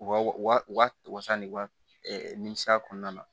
U ka wa u ka wasa ni wa minisiy'a kɔnɔna na